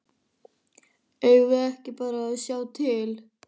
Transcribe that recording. Eigum við ekki bara að sjá til?